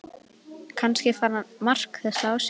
Kannski fann Mark þetta á sér.